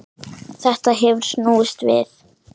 Þetta hefur snúist við.